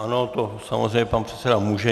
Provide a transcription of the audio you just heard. Ano, to samozřejmě pan předseda může.